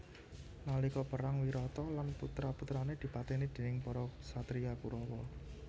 Nalika perang Wirata lan putra putrane dipateni déning para ksatria Kurawa